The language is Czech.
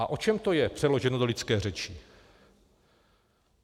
A o čem to je, přeloženo do lidské řeči?